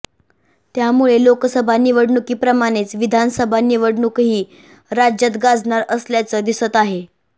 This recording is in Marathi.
त्यामुळे लोकसभा निवडणुकीप्रमाणेच विधानसभा निवडणूकही राज्यात गाजणार असल्याचंं दिसत आहे